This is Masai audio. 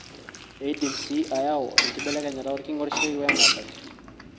eidim sii ayau enkibelekenyata orking'orishoi wemodoki